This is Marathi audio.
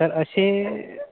तर असे